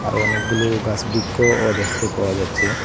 আরও অনেকগুলো গাস বৃক্কও দেখতে পাওয়া যাচ্চে।